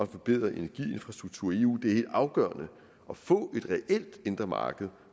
forbedret energiinfrastruktur i eu det er afgørende at få et reelt indre marked